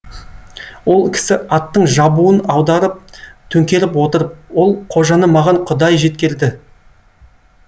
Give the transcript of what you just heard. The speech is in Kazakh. ол кісі аттың жабуын аударып төңкеріп отырып ол қожаны маған құдай жеткерді